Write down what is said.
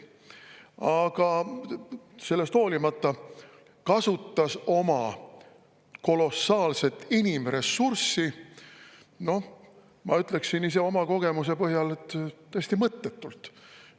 Aga sellest hoolimata kasutas Hiina luure oma kolossaalset inimressurssi, ma ütleksin ise oma kogemuse põhjal, täiesti mõttetult.